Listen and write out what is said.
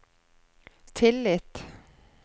tillit